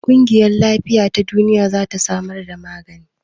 ƙungiyar Lafiya ta Duniya za ta samar da magani.